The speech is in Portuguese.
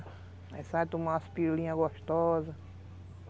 Aí sai, toma umas pirulinhas gostosas.